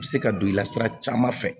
U bɛ se ka don i la sira caman fɛ